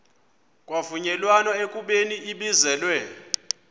kwavunyelwana ekubeni ibizelwe